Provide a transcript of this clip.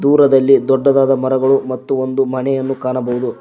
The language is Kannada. ದೂರದಲ್ಲಿ ದೊಡ್ಡದಾದ ಮರಗಳು ಮತ್ತು ಒಂದು ಮನೆಯನ್ನು ಕಾಣಬಹುದು.